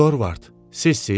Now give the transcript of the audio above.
Dorvard, sizsiz?